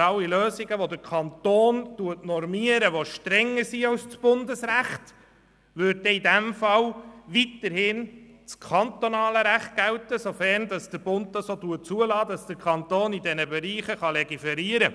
alle Lösungen, die der Kanton normiert und die strenger sind als das Bundesrecht, würde in diesem Fall das kantonale Recht weiterhin gelten, sofern der Bund zulässt, dass der Kanton in diesen Bereichen legiferiert.